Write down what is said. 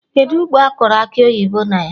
Kedụ ugbo akọrọ Akị oyibo na ya?